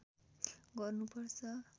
गर्नु पर्छ